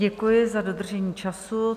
Děkuji za dodržení času.